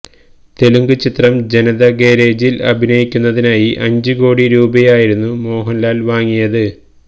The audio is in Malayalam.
തെലുങ്ക് ചിത്രം ജനതാഗാരേജില് അഭിനയിക്കുന്നതിനായി അഞ്ച് കോടി രൂപയായിരുന്നു മോഹന്ലാല് വാങ്ങിയത്